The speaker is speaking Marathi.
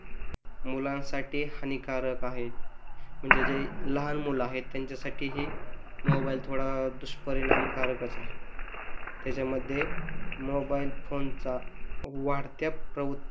मुलांसाठी हानिकारक आहे म्हणजे जे लहान मुलं आहे त्यांच्यासाठी ही मोबाईल थोडा दुष्परिणामकारकच आहे त्याच्यामध्ये मोबाईल फोनचा वाढत्या